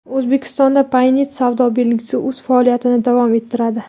O‘zbekistonda Paynet savdo belgisi o‘z faoliyatini davom ettiradi.